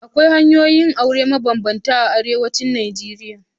Akwai hanyoyin yin aure mabambanta a arewacin Najeriya.